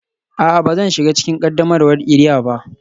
A'a, ba zan shiga cikin qaddamarwar iria ba